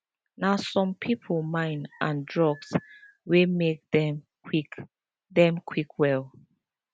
na some people mind and drugs dey make them quick them quick well